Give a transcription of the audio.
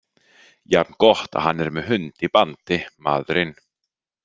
Jafn gott að hann er með hund í bandi, maðurinn.